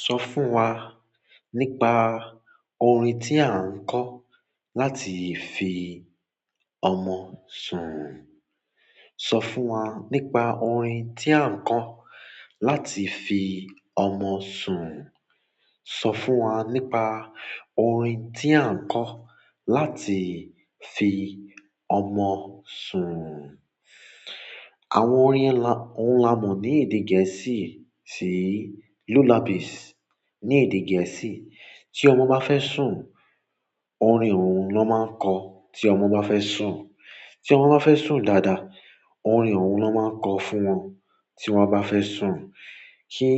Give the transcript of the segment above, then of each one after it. Sọ fún wa nípa orin tí a ń kọ láti fi ọmọ sun. Sọ fún wa nípa orin tí a ń kọ láti fi ọmọ sun. Sọ fún wa nípa orin tí a ń kọ láti fi ọmọ sun. Àwọn orin yẹn la oun la mọ ni èdè gẹ̀ẹ́sì ṣi lullabis ni èdè gẹ̀ẹ́sì tí ọmọ bá fẹ́ sùn, orin òun ló máa ń kọ. Tí ọmọ bá fẹ́ sùn. Tí ọmọ bá fẹ́ sùn dáadáa, orin òun ló máa ń kọ fún wọn. Tí wọ́n bá fẹ́ sùn. Kí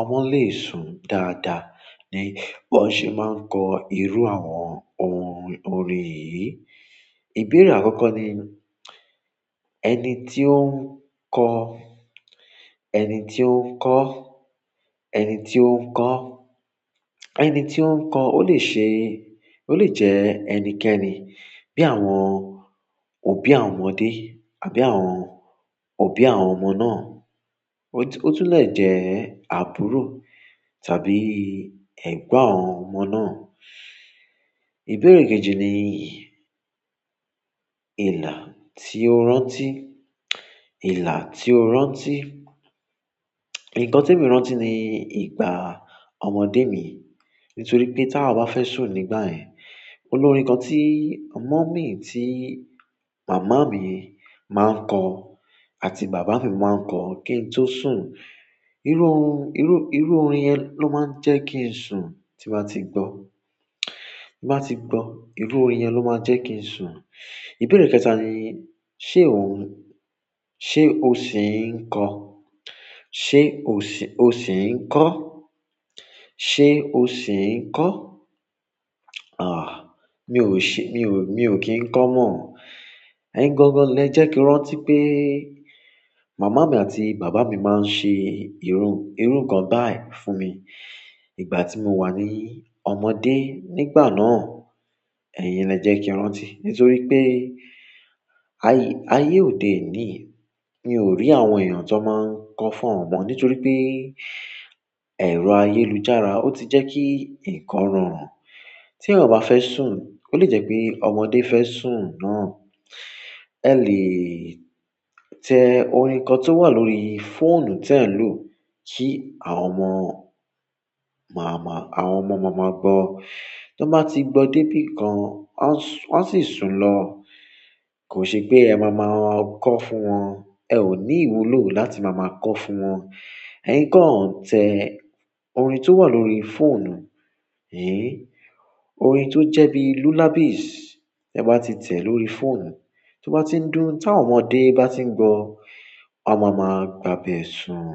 ọmọ lè sùn dáadáa ni wọ́n ṣe máa ń kọ irú àwọn orin orin yìí. Ìbéèrè àkọ́kọ́ ni ẹni ti o n kọ ẹni ti o n kọ ẹni ti o n kọ ẹni ti o n kọ ọ le ṣe ó lè jẹ ẹnikẹni bí àwọn òbí àwọn ọmọdé yìí àbí àwọn òbí àwọn ọmọ náà. O tun le jẹ àbúrò tàbí ẹ̀gbọ́n àwọn ọmọ náà. Ìbéèrè kejì ni yìí. Ìlà tí o rántí, ìlà tí o rántí. Ǹkan te mi rántí ni ìgbà ọmọdé mi. Nítorí pé tí awa bá fẹ́ sùn nígbà yẹ́n, olórin kan tí mummy, tí màmá mi máa ń kọ àti bàbá mi máa ń kọ kí n tó sùn. Irú iru irú, irú orin yẹn ló máa ń jẹ́ kí n sùn tí má ti gbọ́. Bí bá ti gbọ́, irú orin yẹn ló máa jẹ́ kí n sùn. Ìbéèrè kẹta ni, ṣe ò n ṣe o sì ń kọ? Ṣe o ṣi o sì ń kọ? Ṣe o sì ń kọ? Àh, mi ò ṣe, mi ò, mi ò kí ń kọ́ mọ̀. Ẹ̀yin gangan lè jẹ́ kí rántí pé màmá mi àti bàbá mi máa ń ṣe irú, irú ǹkan báyìí fún mi ìgbà tí mo wà ní ọmọdé. Nígbà náà, ẹ̀yin lè jẹ́ kí rántí nítorí pé ayé, ayé òde ni. Mi ò rí àwọn èèyàn tó máa ń kọ fún nítorí pé ẹ̀rọ ayélujára ó ti jẹ́ kí ǹkan rọrùn. Tí eyan ò bá fẹ́ sùn, ó lè jẹ́ pé ọmọdé fẹ́ sùn náà, ẹ lè tẹ orin kan tó wà lórí fóònù tí ẹ̀ ń lò kí àwọn ọmọ màmá, àwọn ọmọ màmá gbọ́. Tan bá ti gbọ́ dé bí kan, wọ́n a su wọ́n a ṣi sùn lọ. Kò ṣe pé ẹ máa máa kọ fún wọn. Ẹ ò ní ìwúlò láti máa máa kọ fún wọn. Ẹ kọ̀ tẹ orin tó wà lórí fóònù. Orin tó jẹ́ bí lullabies. Ẹ bá ti tẹ̀ ẹ́ lórí fóònù, tó bá ti ń dún, tí àwọn ọmọdé bá ti ń gbọ́, à máa ma gba bẹ sùn.